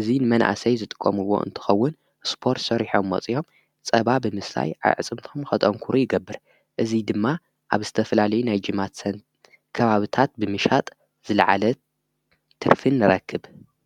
እዙይ ንመናእሰይ ዝጥቆምዎ እንትኸውን ስጶር ሠሪሖምሞፂኦም ጸባ ብምስላይ ኣዕጽምቶም ኸጠንኩሩ ይገብር እዙይ ድማ ኣብ ስተፈላለይ ናይ ጅማት ሰን ከባብታት ብምሻጥ ዝለዓለት ትርፍን ረክብ።